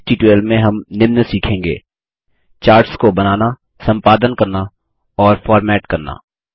इस ट्यूटोरियल में हम निम्न सीखेंगे चार्ट्स को बनाना संपादन करना और फॉर्मेट करना